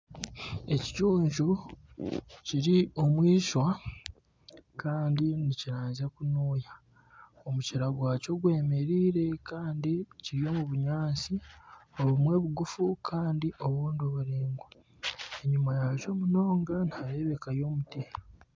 Ekicuncu kiri omwishwa kandi nikiranzya kunuya. Omukira gwakyo gwemereire kandi kiri omu bunyaatsi obumwe bugufu kandi obundi biringwa. Enyima yakyo munonga niharebekayo omuti.